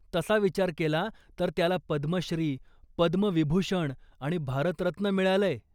तसा विचार केला तर त्याला पद्मश्री, पद्मविभूषण आणि भारतरत्न मिळालंय.